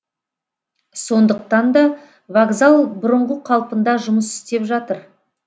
сондықтан да вокзал бұрынғы қалпында жұмыс істеп жатыр